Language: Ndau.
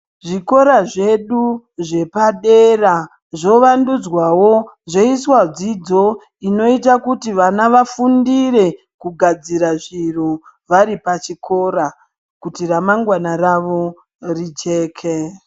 Zvikora zvedu zvepadera zvovandudzwawo zveiswa dzidzo inoita kuti vana vafundire kugadzira zviro varipachikora kuti ramangwana ravo rijeke .